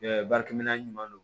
baarakɛminɛn ɲuman don